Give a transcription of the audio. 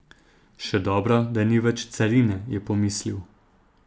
Še dobro, da ni več carine, je pomislil.